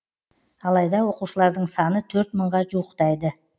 алайда оқушылардың саны төрт мыңға жуықтайды